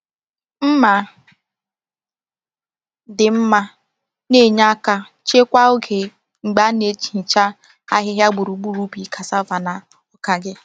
Mma dị mma na-enye aka chekwaa oge mgbe a na-ehicha ahịhịa gburugburu ubi cassava na ọka gị.